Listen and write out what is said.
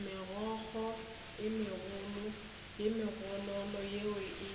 megokgo goba megololo yeo e